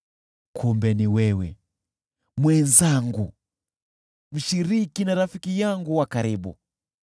Kumbe ni wewe, mwenzangu, mshiriki na rafiki yangu wa karibu,